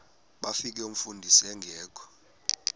bafika umfundisi engekho